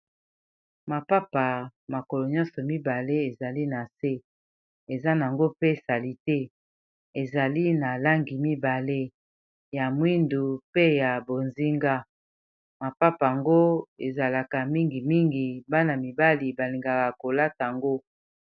mapapa makolo nyonso mibale ezali na se eza nango mpe salite ezali na langi mibale ya mwindu pe ya bozinga mapapa yango ezalaka mingimingi bana mibali balingaka kolata ango